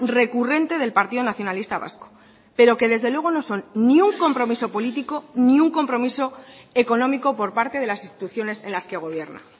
recurrente del partido nacionalista vasco pero que desde luego no son ni un compromiso político ni un compromiso económico por parte de las instituciones en las que gobierna